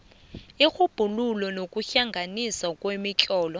irhubhululo nokuhlanganiswa kwemitlolo